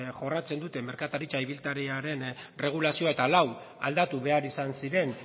jorratzen dute merkataritza ibiltariaren erregulazioa eta lau aldatu behar izan ziren